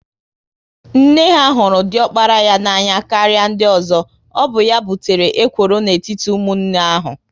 Nne ha hụrụ diokpara ya n'anya karịa ndị ozo, ọ bụ ya butere ekworo n'etiti ụmụnne ahu